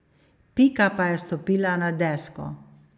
Pika pa je stopila na desko.